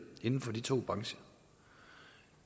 inden for de to brancher